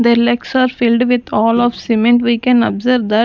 Their legs are filled with all of cement we can observe that --